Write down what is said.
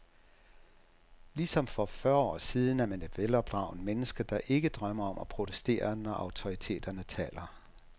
Lige som for fyrre år siden er man et velopdragent menneske, der ikke drømmer om at protestere, når autoriteterne taler.